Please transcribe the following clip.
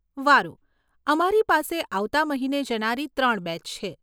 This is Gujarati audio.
વારુ, અમારી પાસે આવતા મહિને જનારી ત્રણ બેચ છે.